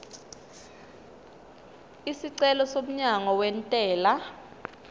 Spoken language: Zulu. isicelo somyalo wentela